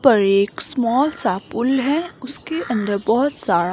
पर एक स्मॉल सा पुल है। उसके अंदर बहोत सारा--